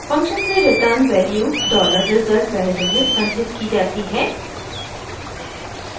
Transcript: function से return value dollar result variable में संचित की जाती है